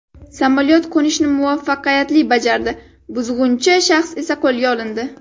Samolyot qo‘nishni muvaffaqiyatli bajardi, buzg‘unchi shaxs esa qo‘lga olindi.